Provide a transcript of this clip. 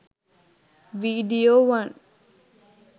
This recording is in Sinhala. video one